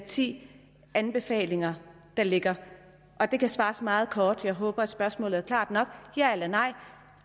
ti anbefalinger der ligger det kan der svares meget kort jeg håber at spørgsmålet er klart nok ja eller nej